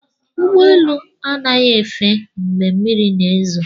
Ụgbọ elu anaghị efe mgbe mmiri na-ezo